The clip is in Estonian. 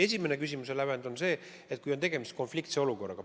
Esimene küsimuse lävend on see, kas on tegemist konfliktse olukorraga.